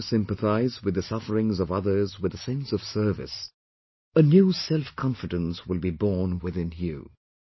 If you try to sympathise with the sufferings of others with a sense of service, a new selfconfidence will be born within you